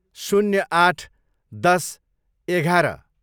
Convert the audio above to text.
शून्य आठ, दस, एघार